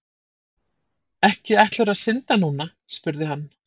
Ekki ætlarðu að synda núna? spurði hann.